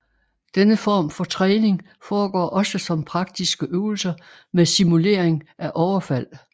Denne form for træning foregår også som praktiske øvelser med simulering af overfald